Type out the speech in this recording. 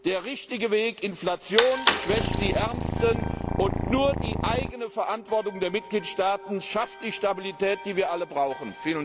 Der richtige Weg Inflation schwächt die Ärmsten, und nur die eigene Verantwortung der Mitgliedstaaten schafft die Stabilität, die wir alle brauchen.